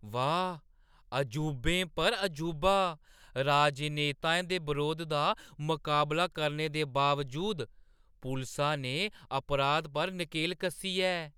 वाह्, अजूबें चा अजूबा, राजनेताएं दे बरोध दा मकाबला करने दे बावजूद पुलसा ने अपराध पर नकेल कस्सी ऐ!